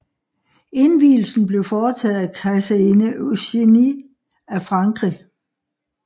Indvielsen blev foretaget af kejserinde Eugénie af Frankrig